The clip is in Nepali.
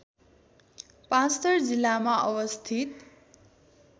पाँचथर जिल्लामा अवस्थित